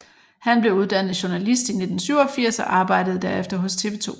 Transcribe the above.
Han blev uddannet journalist i 1987 og arbejdede derefter hos TV 2